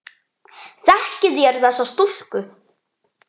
Þekkið þér þessa stúlku?